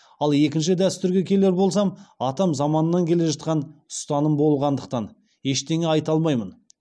ал екінші дәстүрге келер болсам атам заманнан келе жатқан ұстаным болғандықтан ештеңе айта алмаймын